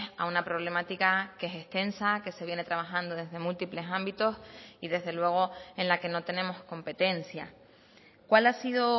a una problemática que es extensa que se viene trabajando desde múltiples ámbitos y desde luego en la que no tenemos competencia cuál ha sido